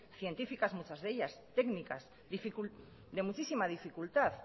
científicas muchas de ellas técnicas de mucha dificultad